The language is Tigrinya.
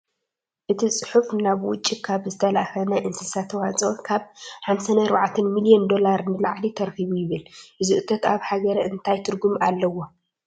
እቲ ፅሑፍ ናብ ውጪ ካብ ዝተላእኸ ናይ እንስሳ ተዋፅኦ ካብ 54 ሚሊዮን ዶላር ንላዕሊ ተረኺቡ ይብል፡፡ እዚ እቶት ኣብ ሃገር እንታይ ትርጉም ኣለዎ?